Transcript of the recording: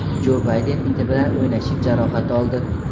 Jo Bayden iti bilan o‘ynashib jarohat oldi.